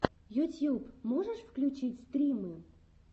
ютьюб можешь включить стримы